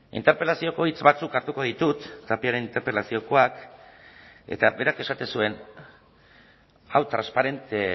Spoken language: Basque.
interpelazioko hitz batzuk hartuko ditut tapiaren interpelaziokoak eta berak esaten zuen hau transparente